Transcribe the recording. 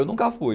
Eu nunca fui.